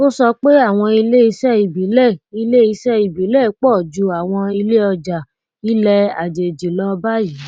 ó sọ pé àwọn iléiṣẹ ìbílẹ iléiṣẹ ìbílẹ pọ ju àwọn iléọjà ilẹ àjèjì lọ báyìí